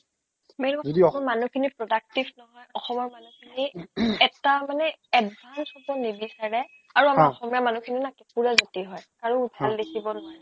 main বস্তু যদি অ মানুহখিনি productive নহয় অসমৰ মানুহখিনি এটা মানে advance হ'ব নিবিচাৰে অ আৰু আমাৰ অসমীয়া মানুহখিনি না কেকুৰাজাতি হয় কাৰো অ ভাল দেখিব নোৱাৰে